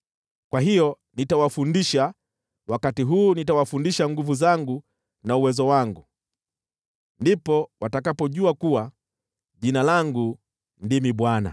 “Kwa hiyo nitawafundisha: wakati huu nitawafundisha nguvu zangu na uwezo wangu. Ndipo watakapojua kuwa Jina langu ndimi Bwana .